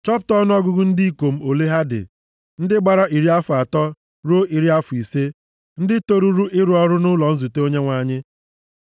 Chọpụta ọnụọgụgụ ndị ikom ole ha dị, ndị gbara iri afọ atọ ruo iri afọ ise, ndị toruru ịrụ ọrụ nʼụlọ nzute Onyenwe anyị.